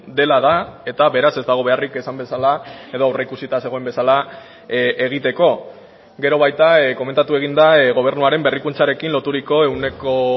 dela da eta beraz ez dago beharrik esan bezala edo aurreikusita zegoen bezala egiteko gero baita komentatu egin da gobernuaren berrikuntzarekin loturiko ehuneko